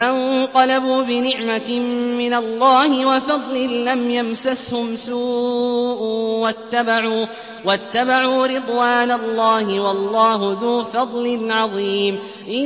فَانقَلَبُوا بِنِعْمَةٍ مِّنَ اللَّهِ وَفَضْلٍ لَّمْ يَمْسَسْهُمْ سُوءٌ وَاتَّبَعُوا رِضْوَانَ اللَّهِ ۗ وَاللَّهُ ذُو فَضْلٍ عَظِيمٍ